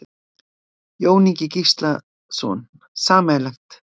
Jón Ingi Gíslason: Sameiginlegt?